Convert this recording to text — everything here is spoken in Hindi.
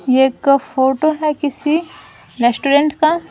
ये एक फोटो है किसी रेस्टोरेंट का।